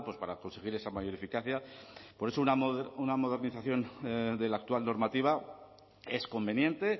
para conseguir esa mayor eficacia por eso una modernización de la actual normativa es conveniente